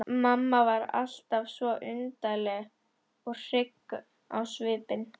Mamma varð alltaf svo undarleg og hrygg á svipinn.